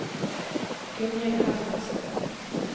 Gunhild Hermansen